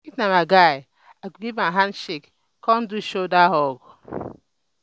if na my guy i go giv am handshake con do shoulder hug